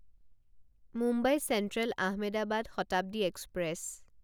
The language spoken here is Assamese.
Mumbai Central Ahmedabad Shatabdi express